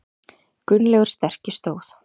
Gunnlaugur sterki stóð.